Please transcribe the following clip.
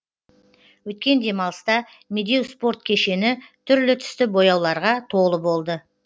өткен демалыста медеу спорт кешені түрлі түсті бояуларға толы болды